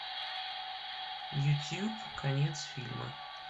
ютуб конец фильма